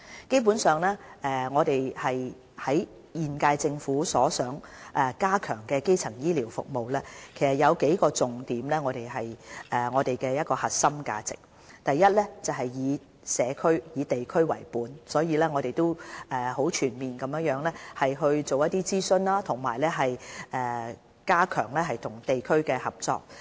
基本上，現屆政府所想加強的基層醫療服務，其實有數個重點是我們的核心價值：第一是以社區、地區為本，我們很全面地進行諮詢，加強與地區的合作。